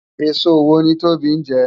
Esó wó ni Tobi njè?